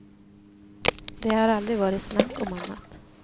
Det har aldrig varit snack om annat.